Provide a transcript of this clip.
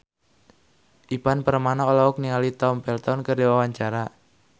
Ivan Permana olohok ningali Tom Felton keur diwawancara